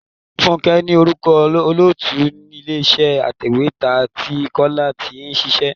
Fúnké ní orúkọ olóòtú ilé iṣẹ́ atèwétà tí Kọ́lá tí ń ṣíṣe.